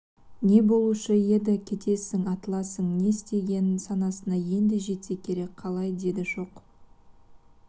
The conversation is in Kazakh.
не болушы еді кетесің атыласың не істеген санасына енді жетсе керек қалай деді шоқ